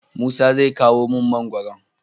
musa zai kawo mun mangoron